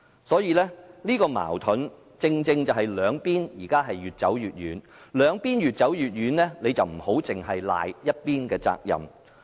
這個矛盾正正令到兩方面現時越走越遠，但我們不應埋怨這只是某一方的責任。